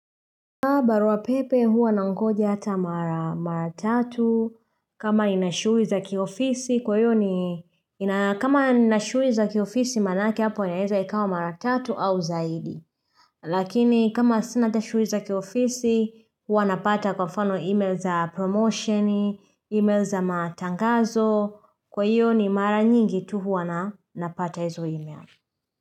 Barua pepe huwa nangoja hata mara mara tatu kama inashui za kiofisi kwa hiyo ni kama inashui za kiofisi manake hapo inaeza ikawa mara tatu au zaidi. Lakini kama sina ata shui za kiofisi huwa napata kwa mfano email za promotion, email za matangazo kwa hiyo ni mara nyingi tu huwa na napata hizo email.